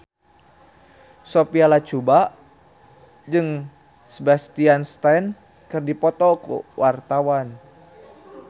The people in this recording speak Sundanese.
Sophia Latjuba jeung Sebastian Stan keur dipoto ku wartawan